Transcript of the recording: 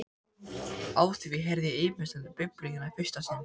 Á því heyrði ég ýmislegt um Biblíuna í fyrsta sinn.